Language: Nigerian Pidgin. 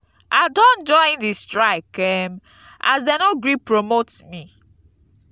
i don join di strike um as dey no gree promote me.